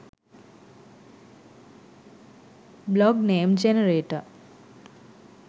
blog name generator